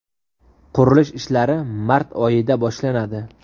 Qurilish ishlari mart oyida boshlanadi.